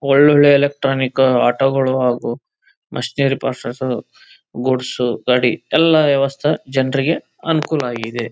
ಒಳ್ಳೊಳ್ಳೆ electronic auto ಗಳು ಹಾಗು ಮಿಷೆನೇರೆ ಪಾರ್ಟ್ಸ್ ಗೂಡ್ಸ್ ಗಾಡಿ ಎಲ್ಲ ವ್ಯವಸ್ಥೆ ಜನರಿಗೆ ಅನುಕೂಲಾಗಿದೆ.